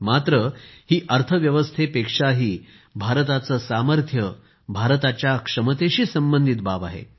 मात्र ही अर्थव्यवस्थेपेक्षाही भारताचे सामर्थ्य भारताच्या क्षमतेशी संबंधित बाब आहे